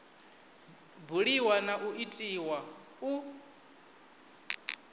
buliwa na u itiwa u